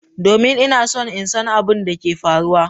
Domin! Ina so in san abin da ke faruwa.